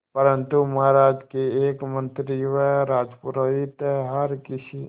परंतु महाराज के एक मंत्री व राजपुरोहित हर किसी